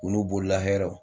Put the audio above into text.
U n'u bolola hɛrɛw.